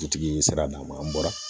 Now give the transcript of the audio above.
Dutigi sara n'a ma an bɔra